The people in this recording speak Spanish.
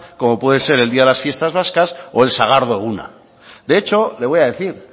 como puede ser el día de las fiestas vascas o el sagardo eguna de hecho le voy a decir